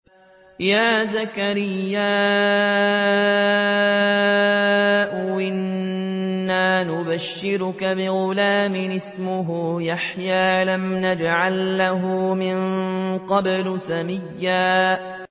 يَا زَكَرِيَّا إِنَّا نُبَشِّرُكَ بِغُلَامٍ اسْمُهُ يَحْيَىٰ لَمْ نَجْعَل لَّهُ مِن قَبْلُ سَمِيًّا